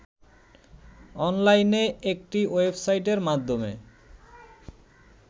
অনলাইনে একটি ওয়েবসাইটের মাধ্যমে